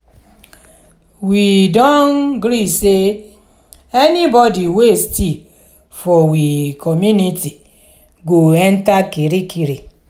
we do gree sey anybody wey steal for we community go enta kirikiri.